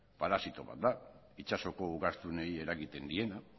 parasito bat da itsasoko ugaztunei eragiten diena